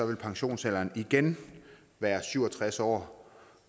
vil pensionsalderen igen være syv og tres år